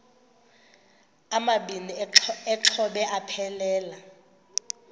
amabini exhobe aphelela